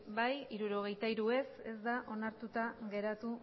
bai hirurogeita hiru ez ez da onartuta geratu